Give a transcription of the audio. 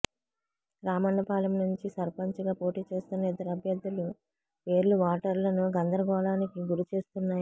రామన్నపాలెం నుంచి సర్పంచిగా పోటీచేస్తున్న ఇద్దరు అభ్యర్థులు పేర్లు ఓటర్లను గందరగోళానికి గురిచేస్తున్నాయి